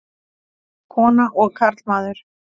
Kona og karlmaður.